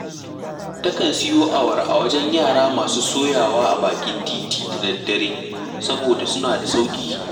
Takan siyo awara a wajen yara masu soyawa a bakin tiiti da daddare, saboda suna da sauƙi